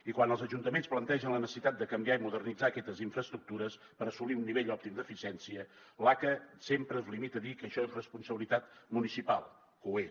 i quan els ajuntaments plantegen la necessitat de canviar i modernitzar aquestes infraestructures per assolir un nivell òptim d’eficiència l’aca sempre es limita a dir que això és responsabilitat municipal que ho és